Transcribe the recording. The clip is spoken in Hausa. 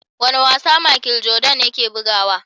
Wane wasa machel jordan yake bugawa?